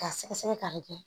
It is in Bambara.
K'a sɛgɛsɛgɛ k'a bɛ kɛ